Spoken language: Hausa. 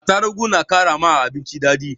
Atarugu na kara ma abinci daɗi